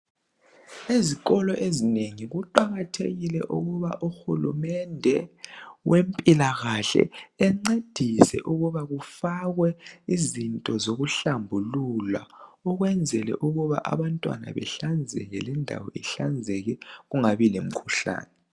Ezikolo ezinengi kuqakathekile ukuba uHulumende wempilakahle encedise ukuba kufakwe izinto zokuhlambulula ukwenzela ukuba abantwana behlanzeke lendawo ihlanzeke kungabi lemikhuhlane.